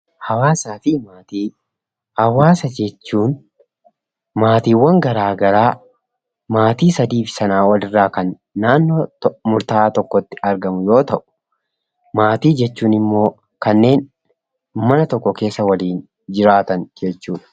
Hawaasaafi maatii: hawaasa jechuun maatiwwan garaagaraa maatii sadiif sanaa olirraa kan naannoo murtaa'aa tokkotti argamu yoo ta'u maatii jechuun ammoo kanneen mana tokko keessa waliin jiraatan jechuudha.